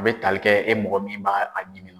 O be tali kɛ e mɔgɔ min b'a ɲimi na.